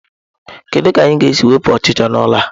Kedu ka anyị ga-esi wepụ ọchịcha n'ụlọ a?